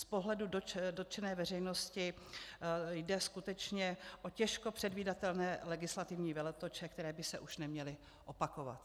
Z pohledu dotčené veřejnosti jde skutečně o těžko předvídatelné legislativní veletoče, které by se už neměly opakovat.